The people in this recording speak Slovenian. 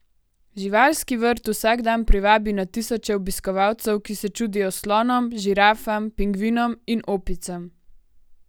Živalski vrt vsak dan privabi na tisoče obiskovalcev, ki se čudijo slonom, žirafam, pingvinom in opicam.